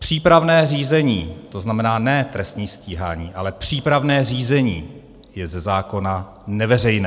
Přípravné řízení, to znamená ne trestní stíhání, ale přípravné řízení je ze zákona neveřejné.